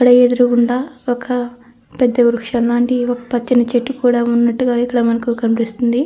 ఎదురుగుండా ఒక పెద్ద వృక్షం లాంటి ఒక పచ్చని చెట్టు కూడా ఉన్నట్లు ఇక్కడ కనిపిస్తుంది.